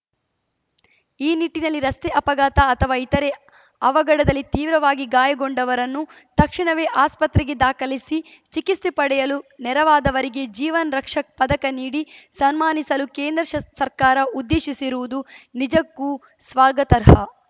ಈ ನಿಟ್ಟಿನಲ್ಲಿ ರಸ್ತೆ ಅಪಘಾತ ಅಥವಾ ಇತರೆ ಅವಘಡದಲ್ಲಿ ತೀವ್ರವಾಗಿ ಗಾಯಗೊಂಡವರನ್ನು ತಕ್ಷಣವೇ ಆಸ್ಪತ್ರೆಗೆ ದಾಖಲಿಸಿ ಚಿಕಿಸ್ತೆ ಪಡೆಯಲು ನೆರವಾದವರಿಗೆ ಜೀವನ್‌ ರಕ್ಷಕ್‌ ಪದಕ ನೀಡಿ ಸನ್ಮಾನಿಸಲು ಕೇಂದ್ರ ಶ್ ಸರ್ಕಾರ ಉದ್ದೇಶಿಸಿರುವುದು ನಿಜಕ್ಕೂ ಸ್ವಾಗತರ್ಹ